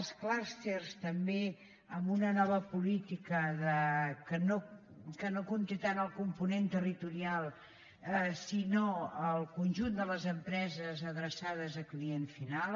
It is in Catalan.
els clústers també amb una nova política que no compti tant el component territorial sinó el conjunt de les empreses adreçades a client final